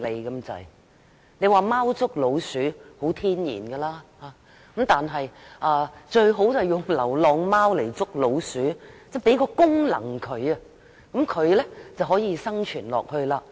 有人認為貓天性捉老鼠，因而倡議用流浪貓來捉老鼠，流浪貓有這個功能便可以生存下去。